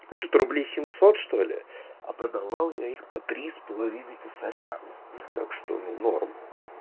что-то рублей семьсот что-ли а продавал я их по три с половиной косаря так что ну норм